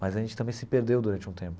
Mas a gente também se perdeu durante um tempo.